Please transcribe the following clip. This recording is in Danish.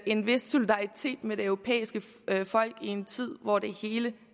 en vis solidaritet med det europæiske folk i en tid hvor det hele